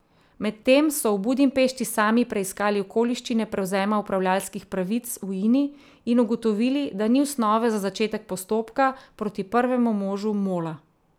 Medtem so v Budimpešti sami preiskali okoliščine prevzema upravljavskih pravic v Ini in ugotovili, da ni osnove za začetek postopka proti prvemu možu Mola.